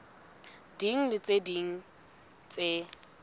ding le tse ding tse